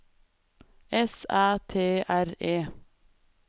S Æ T R E